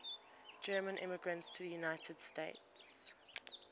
german immigrants to the united states